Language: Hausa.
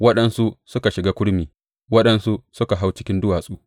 Waɗansu suka shiga kurmi; waɗansu suka hau cikin duwatsu.